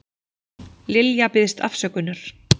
Lilja biðst afsökunar